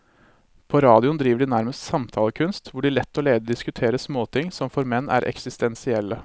På radioen driver de nærmest samtalekunst, hvor de lett og ledig diskuterer småting som for menn er eksistensielle.